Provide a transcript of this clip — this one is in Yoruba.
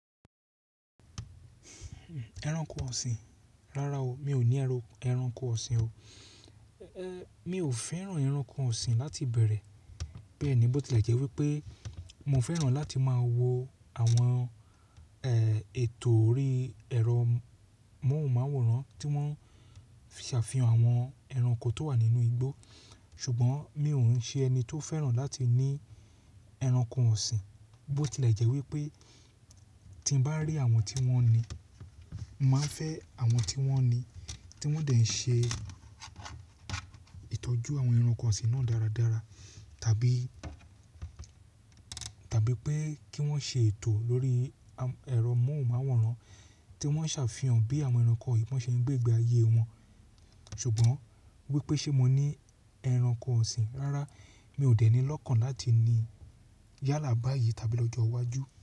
Ẹranko ọ̀sìn, rárá o, mi ò ní ẹranko ọ̀sìn o. Mi ò fẹ́ràn ẹranko ọ̀sìn láti ìbẹ̀rẹ̀, bẹ́ẹ̀ ni bó ti lẹ̀ jẹ́ wípé mo fẹ́ràn láti máa wo àwọn ètò orí ẹ̀rọ móhùnmáwòrán tí wọ́n ṣàfihàn àwọn ẹranko tó wà nínú igbó, ṣùgbọ́n mi ò ń ṣe ẹni tó fẹ́ràn láti ní ẹranko ọ̀sìn. Bó ti lẹ̀ jẹ́ wípé tí ń bá rí àwọn tí wọ́n ni, màá fẹ́ àwọn tí wọ́n ni tí wọ́n dẹ̀ ń ṣe ìtọ́jú àwọn ẹranko ọ̀sìn náà dáradára, tabi tàbí pé kí wọ́n ṣe ètò lórí ẹ̀rọ móhùnmáwòrán tí wọ́n ṣàfihàn bí àwọn ẹranko yìí boṣe ń gbégbe ayé wọn. Ṣùgbọ́n wípé ṣé mo ní ẹranko ọ̀sìn? Rárá, mi ò dẹni lọ́kàn láti ní yálà báyìí tàbí lọ́jọ́ iwájú.